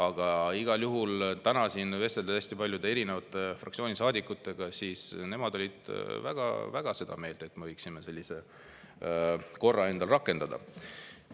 Aga igal juhul täna siin vesteldes paljude eri fraktsioonide saadikutega, sain aru, et nemad on väga seda meelt, et me võiksime sellise korra endal rakendada.